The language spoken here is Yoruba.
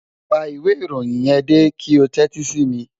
Pa ìwé ìròyìn yẹn dé kí o tẹ́tí sí mi